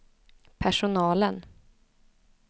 personalen